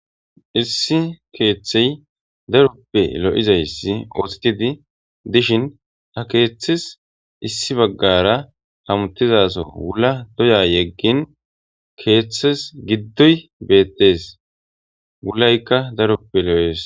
issi keeththey daroppe lo7izayssi oothitidi dishin ha keeththis issi baggara hamutizazo wulla doya yeggin keeththes giddoy beettees wullaykka daroppe lo7ees